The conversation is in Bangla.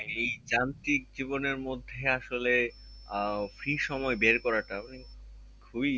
এই যান্ত্রিক জীবনের মধ্যে আসলে আহ free সময় বের করাটাও খুবই